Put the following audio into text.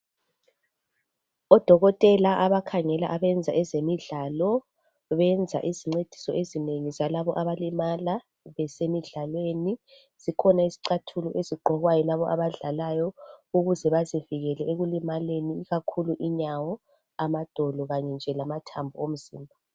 Odokotela abakhangela abenza ezemidlalo benza izincediso ezinengi zalabo abalimala besemidlalweni, zikhona izicathulo ezigqokwa yilabonabadlalayo ukuze bazivikele ekulimaleni ikakhulu inyawo, amadolo kanye nje lamathambo omzimba.